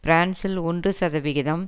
பிரான்சில் ஒன்று சதவிகிதம்